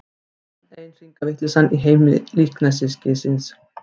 Enn ein hringavitleysan í heimi líkneskisins.